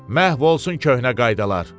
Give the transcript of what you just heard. Məhv olsun köhnə qaydalar.